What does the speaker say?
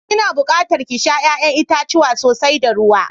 Ki na buƙatar ki sha ya'yan itacuwa sosai da ruwa.